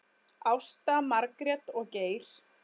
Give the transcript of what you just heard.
Ásta, Margrét og Geir.